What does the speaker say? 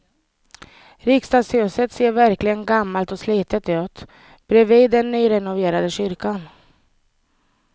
Riksdagshuset ser verkligen gammalt och slitet ut bredvid den nyrenoverade kyrkan.